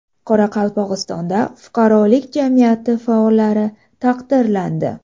Qoraqalpog‘istonda fuqarolik jamiyati faollari taqdirlandi.